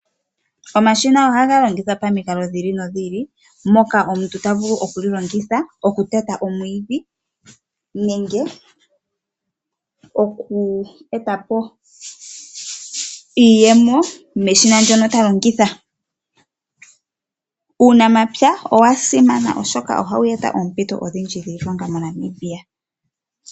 Omashina ohaga longithwa pomukalo dhi ili nodhi ili noka omuntu ta vulu okuteta omwiidhi nenge oku eta po iiyemo meshina ndoka ta longitha .Uunamapya owa simana oshoka ohawu eta oompito odhindji moNamibia.